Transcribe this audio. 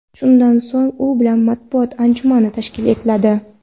Shundan so‘ng u bilan matbuot anjumani tashkil etiladi.